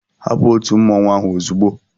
Hapụ òtù mmọnwụ ahụ ozugbo!